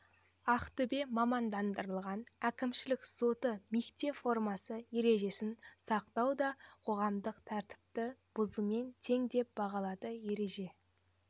ақтөбе мамандандырылған әкімшілік соты мектеп формасы ережесін сақтамау да қоғамдық тәртіпті бұзумен тең деп бағалады ереже